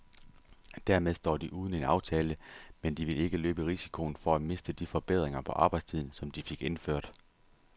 Dermed står de uden en aftale, men de vil ikke løbe risikoen for at miste de forbedringer på arbejdstiden, som de fik indført.